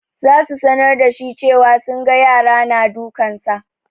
Za su sanar da shi cewa sunga yara na dukansa.